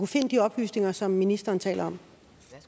finde de oplysninger som ministeren taler